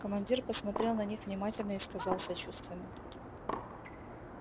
командир посмотрел на них внимательно и сказал сочувственно